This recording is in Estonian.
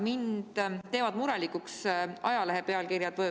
Mind teevad murelikuks ajalehepealkirjad.